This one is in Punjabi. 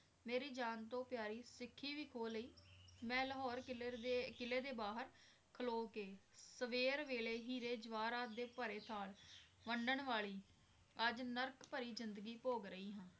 ਮੇਰੀ ਜਾਨ ਤੋਂ ਪਿਆਰੀ ਸਿੱਖੀ ਵੀ ਖੋਹ ਲਈ ਮੈਂ ਲਾਹੌਰ ਕਿਲਰ ਦੇ ਕਿਲ੍ਹੇ ਦੇ ਬਾਹਰ ਖਲੋ ਕੇ ਸਵੇਰ ਵੇਲੇ ਹੀਰੇ ਜਵਾਹਰਤ ਦੇ ਭਰੇ ਥਾਲ ਵੰਡਣ ਵਾਲੀ ਅੱਜ ਨਰਕ ਭਰੀ ਜ਼ਿੰਦਗੀ ਭੋਗ ਰਹੀ ਹਾਂ।